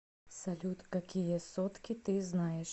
салют какие сотки ты знаешь